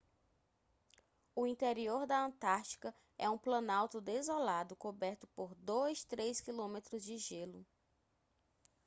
o interior da antártica é um planalto desolado coberto por 2-3 km de gelo